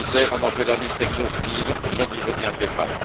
le commissaire en ont fait la liste exhaustive, je n'y reviendrai pas.